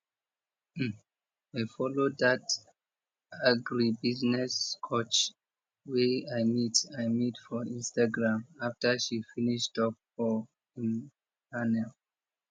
um i follow dat agribusiness coach wey i meet i meet for instagram after she finish talk for im panel